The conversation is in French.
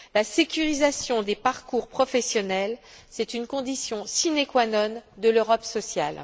La sécurisation des parcours professionnels est une condition sine qua non de l'Europe sociale.